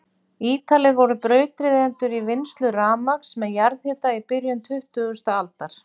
Ítalir voru brautryðjendur í vinnslu rafmagns með jarðhita í byrjun tuttugustu aldar.